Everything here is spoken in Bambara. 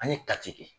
An ye kati